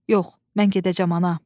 Yox, mən gedəcəm ana.